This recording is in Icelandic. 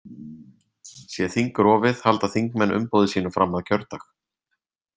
Sé þing rofið halda þingmenn umboði sínu fram að kjördag.